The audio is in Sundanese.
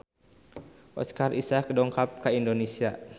Oscar Isaac dongkap ka Indonesia